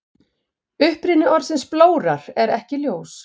Uppruni orðsins blórar er ekki ljós.